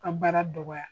Ka baara dɔgɔya